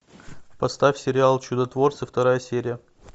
поставь сериал чудотворцы вторая серия